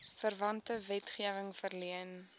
verwante wetgewing verleen